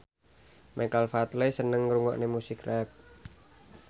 Michael Flatley seneng ngrungokne musik rap